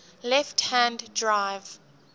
left hand drive